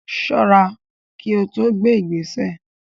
Ṣọ́ra kí o tó gbé ìgbésẹ̀.